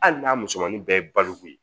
Hali n'a musomanin bɛɛ ye baloko ye